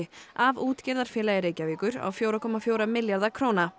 af útgerðarfélagi Reykjavíkur á fjögurra komma fjögurra milljarða króna